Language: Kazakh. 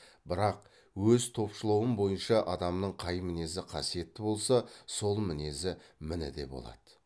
бірақ өз топшылауым бойынша адамның қай мінезі қасиетті болса сол мінезі міні де болады